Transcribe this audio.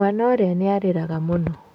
Mwana ũrĩa nĩarĩraga mũno.